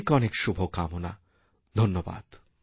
অনেক অনেক শুভকামনা ধন্যবাদ